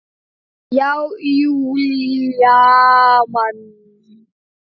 Já, Júlía man.